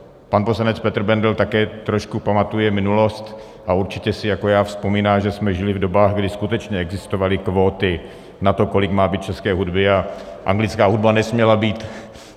Pan poslanec Petr Bendl také trošku pamatuje minulost a určitě si jako já vzpomíná, že jsme žili v dobách, kdy skutečně existovaly kvóty na to, kolik má být české hudby, a anglická hudba nesměla být.